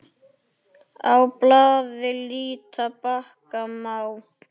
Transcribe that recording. Á blaði líta bakka má.